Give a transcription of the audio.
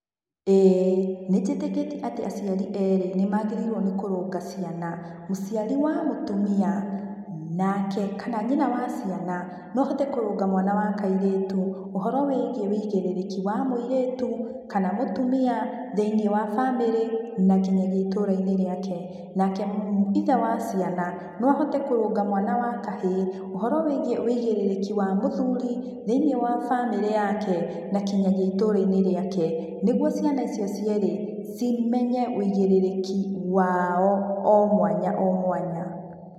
ĩĩ nĩnjĩkĩtiĩ atĩ aciari erĩ nĩmagĩrĩirwo nĩkũrũnga ciana, mũciari wa mũtũmia, nake kana nyina wa ciana no ahote kũrũnga mwana wa kairetu ũhoro wĩigiĩ wĩigĩrĩrĩki wa mũiretu, kana mũtũmia, thĩinĩ wa bamĩrĩ nakinyagia itũrainĩ rĩake. Nake ithe wa ciana no ahotĩ kũrũnga mwana wa kahĩ ũhoro wĩigiĩ wĩigĩrĩrĩki wa mũthũri thĩinĩ wa bamĩrĩ yake nakinyagia itũrainĩ rĩake, nĩgũo ciana icio cierĩ cimenye wĩigĩrĩrĩki wao o mwanya o mwanya.